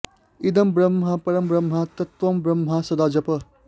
इदं ब्रह्म परं ब्रह्म तत्त्वं ब्रह्म सदा जपः